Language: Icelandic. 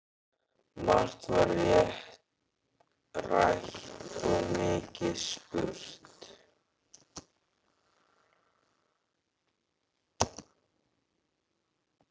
Margt var rætt og mikið spurt.